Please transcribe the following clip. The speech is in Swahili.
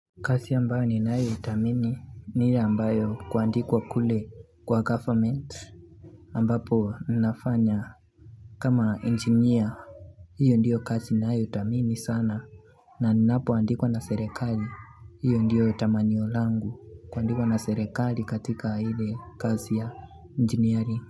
Kazi ambayo ninayothamini ni ile ambayo kuandikwa kule kwa goverment ambapo nafanya kama engineer. Hiyo ndio kazi niyothamini sana na ninapoandikwa na serekali. Hiyo ndio tamanio langu kwa kuandikwa na serekali katika ile kazi ya engineering.